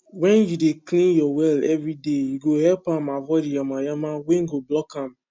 wen u dey clean ur well everyday e go help am avoid yamayama wen go block am